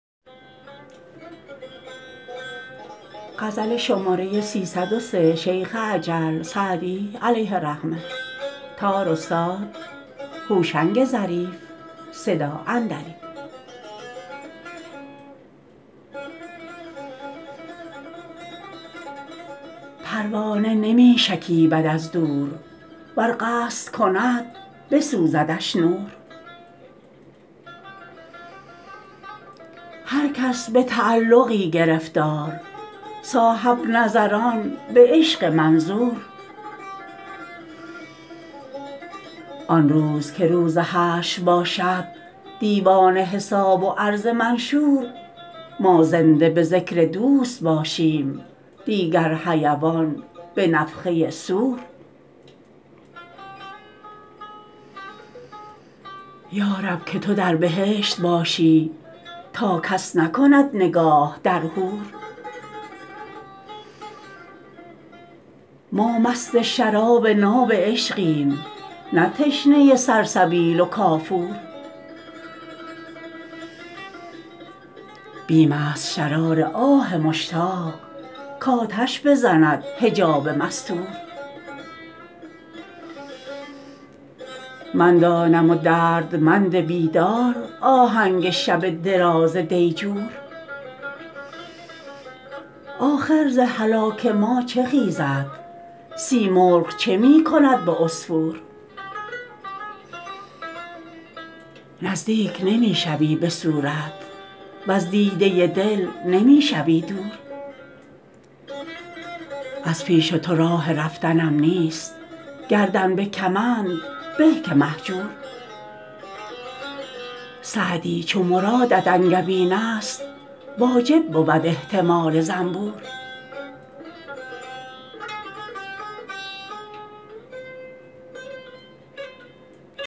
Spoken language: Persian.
پروانه نمی شکیبد از دور ور قصد کند بسوزدش نور هر کس به تعلقی گرفتار صاحب نظران به عشق منظور آن روز که روز حشر باشد دیوان حساب و عرض منشور ما زنده به ذکر دوست باشیم دیگر حیوان به نفخه صور یا رب که تو در بهشت باشی تا کس نکند نگاه در حور ما مست شراب ناب عشقیم نه تشنه سلسبیل و کافور بیم است شرار آه مشتاق کآتش بزند حجاب مستور من دانم و دردمند بیدار آهنگ شب دراز دیجور آخر ز هلاک ما چه خیزد سیمرغ چه می کند به عصفور نزدیک نمی شوی به صورت وز دیده دل نمی شوی دور از پیش تو راه رفتنم نیست گردن به کمند به که مهجور سعدی چو مرادت انگبین است واجب بود احتمال زنبور